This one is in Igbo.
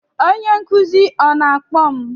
Onye nkuzi ọ na-akpọ m?